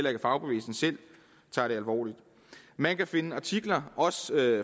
at fagbevægelsen selv tager det alvorligt man kan finde artikler også